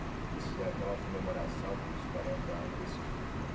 Eles fizeram até uma comemoração pelos quarenta anos desse filme, né?